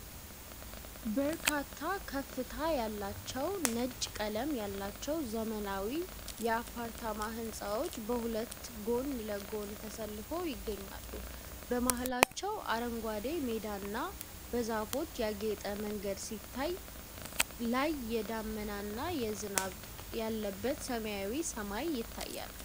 በርካታ ከፍታ ያላቸው፣ ነጭ ቀለም ያላቸው ዘመናዊ የአፓርታማ ህንፃዎች በሁለት ጎን ለጎን ተሰልፈው ይገኛሉ። በመሃላቸው አረንጓዴ ሜዳና በዛፎች ያጌጠ መንገድ ሲታይ፣ ላይ የደመና ዝናብ ያለበት ሰማያዊ ሰማይ ይታያል።